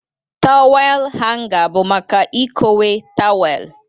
Tawel hanga bụ maka ikowe tawel.